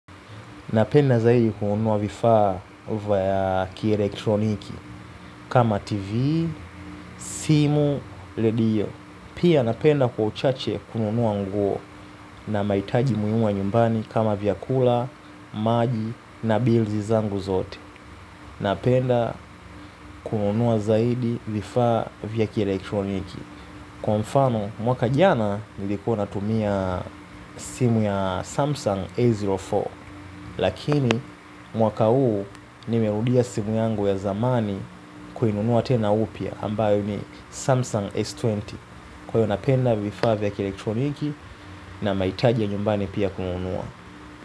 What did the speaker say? Napenda zaidi kununua vifaa vya kielektroniki kama tv, simu, radio. Pia napenda kwa uchache kununua nguo na mahitaji muhimu ya nyumbani kama vyakula, maji na bili zangu zote. Napenda kununua zaidi vifaa vya kielektroniki. Kwa mfano mwaka jana nilikuwa natumia simu ya Samsung A04. Lakini mwaka huu nimerudia simu yangu ya zamani kuinunua tena upya ambayo ni Samsung S20. Kwa hiyo napenda vifaa vya elektroniki na mahitaji ya nyumbani pia kununua.